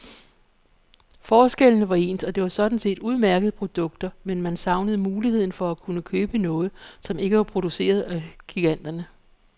Forskellene var ens, og det var sådan set udmærkede produkter, men man savnede muligheden for at kunne købe noget, som ikke var produceret af giganterne.